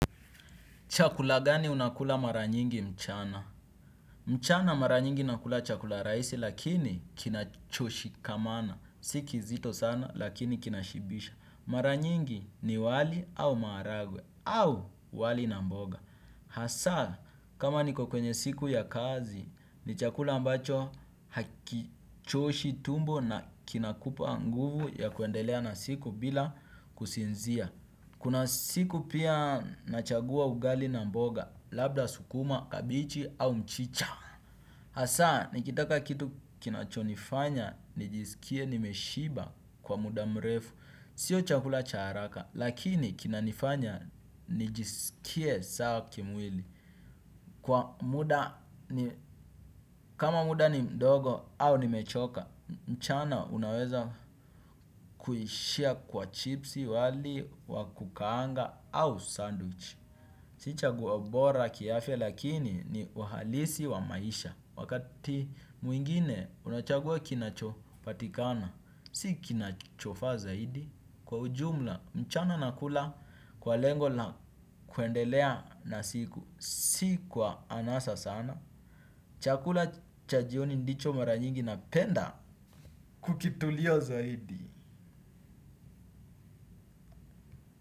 Chakula gani unakula mara nyingi mchana? Mchana mara nyingi nakula chakula rahisi lakini kinacho shikamana. Siki zito sana lakini kinashibisha. Mara nyingi ni wali au maharagwe au wali na mboga. Hasa kama niko kwenye siku ya kazi ni chakula ambacho hakichoshi tumbo na kinakupa nguvu ya kuendelea na siku bila kusinzia. Kuna siku pia nachagua ugali na mboga, labda sukuma, kabichi au mchicha. Hasa, nikitaka kitu kinachonifanya, nijisikie nimeshiba kwa muda mrefu. Sio chakula cha haraka, lakini kinanifanya, nijisikie sawa kimwili. Kwa muda, kama muda ni mdogo au nimechoka, mchana unaweza kuishia kwa chipsi wali, wa kukaanga au sandwich. Si chaguo bora kiafya lakini ni uhalisi wa maisha. Wakati mwingine unachagua kinachopatikana. Si kinachofaa zaidi. Kwa ujumla mchana nakula kwa lengo la kuendelea na siku. Si kwa anasa sana. Chakula cha jioni ndicho mara nyingi napenda kukitulia zaidi.